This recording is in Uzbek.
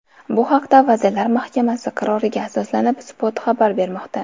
Bu haqda, Vazirlar Mahkamasi qaroriga asoslanib, Spot xabar bermoqda .